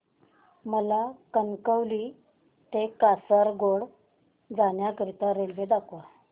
मला कणकवली ते कासारगोड जाण्या करीता रेल्वे दाखवा